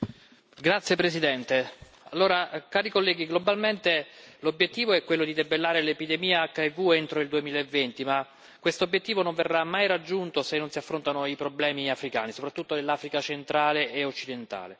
Signor Presidente, onorevoli colleghi, globalmente l'obiettivo è quello di debellare l'epidemia HIV entro il 2012, ma questo obiettivo non verrà mai raggiunto se non si affrontano i problemi africani, soprattutto dell'Africa centrale e occidentale.